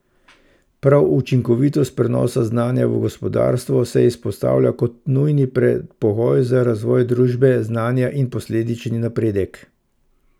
Prav učinkovitost prenosa znanja v gospodarstvo se izpostavlja kot nujni predpogoj za razvoj družbe znanja in posledični napredek.